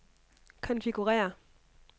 konfigurér